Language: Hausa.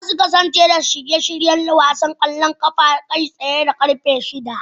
Za su kasance da shirye-shiryen wasan kwallon kafa kai tsaye da karfe shida